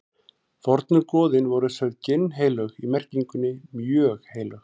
fornu goðin voru sögð ginnheilög í merkingunni mjög heilög